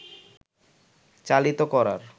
চালিত করার